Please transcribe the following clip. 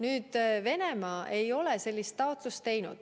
Aga Venemaa ei ole sellist taotlust teinud.